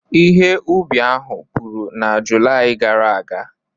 Ihe ubi ahụ puru na Julaị gara aga?